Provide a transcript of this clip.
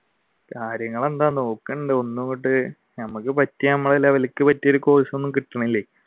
കാര്യങ്ങെളെന്താ ഒന്നും അങ്ങാട്ട് നമ്മക്ക് പറ്റിയ നമക്ക് level ക്ക് പറ്റിയ ഒരു course ഒന്നും കിട്ടണില്ല.